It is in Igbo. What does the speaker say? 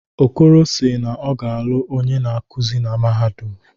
Okoro si naọ ga-alụ onye na-akuzi na mahadum.